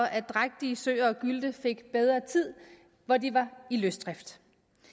at drægtige søer og gylte fik bedre tid når de var i løsdrift